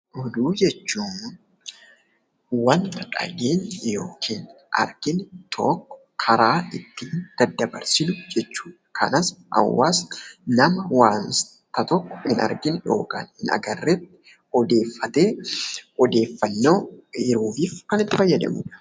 Oduu jechuun wanta dhageetti yookiin dhageenye tokko karaa ittiin daddabarsinu jechuu dha. Akkasumas hawwaasni nama wanta tokko hin argin yookiin hin agarreetti odeeffatee odeeffannoof kan itti fayyadamuu dha.